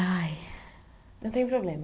Ai Não tem problema.